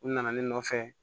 U nana ne nɔfɛ